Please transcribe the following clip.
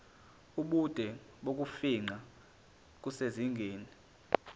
ubude bokufingqa kusezingeni